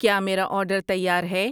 کیا میرا آرڈر تیار ہے